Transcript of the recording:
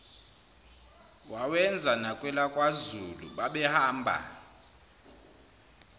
wawenza nakwelakwazulu babehamba